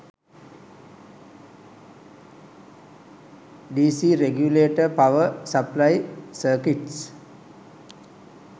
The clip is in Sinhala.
dc regulator power supply circuits